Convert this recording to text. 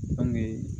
An bɛ